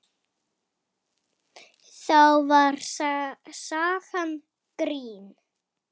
Þá var sagan grín.